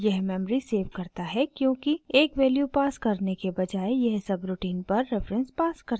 यह memory save करता है क्योंकि एक वैल्यू पास करने के बजाय यह सबरूटीन पर रेफरेन्स पास करता है